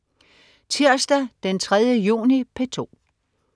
Tirsdag den 3. juni - P2: